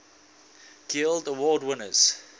guild award winners